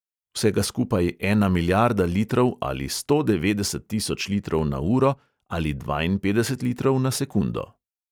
Vsega skupaj ena milijarda litrov ali sto devetdeset tisoč litrov na uro ali dvainpetdeset litrov na sekundo.